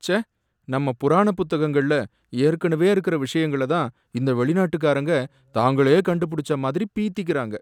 ச்சே! நம்ம புராண புத்தகங்கள்ல ஏற்கனவே இருக்கற விஷயங்கள தான் இந்த வெளிநாட்டுக்காரங்க தாங்களே கண்டு புடிச்ச மாதிரி பீத்திக்கறாங்க.